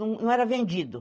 Não era vendido.